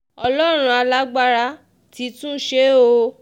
ọlọ́run alágbára ti tún ṣe é o